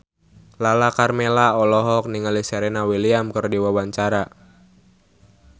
Lala Karmela olohok ningali Serena Williams keur diwawancara